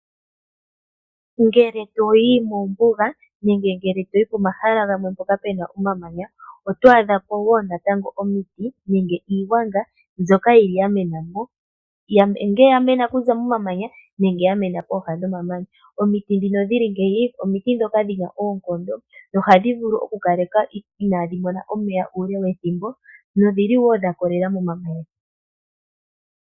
Ngele toyi mombuga nenge toyi pomahala gamwe mpoka pena omamanya, otwadhapo wo natango omiti nenge iigwanga mbyoka yili yamenamo. Nge yamena okuza momamanya nenge yamena pooha dhomamanya. Omiti dhino dhili ngeyi, omiti dhoka dhina oonkondo dho ohadhi vulu oku kaleka inadhi mona omeya uule wethimbo nodhili wo dha kolela momamanya.